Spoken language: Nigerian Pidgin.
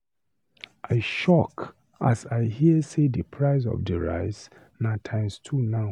I shock as I hear sey di price of di rice na times two now.